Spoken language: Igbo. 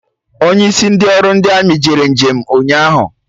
Onye isi ndị ọrụ ndi amị jere njem ụnyaahụ